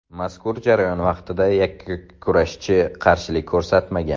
Mazkur jarayon vaqtida yakkurashchi qarshilik ko‘rsatmagan.